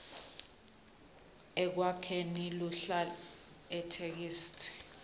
ekwakheni luhlaka itheksthi